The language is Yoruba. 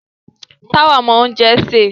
Táwà mọ oúnjẹ sè.